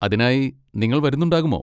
അതിനായി നിങ്ങൾ വരുന്നുണ്ടാകുമോ?